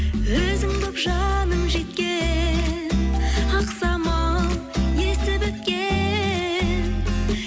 өзің болып жаным жеткен ақ самал есіп өткен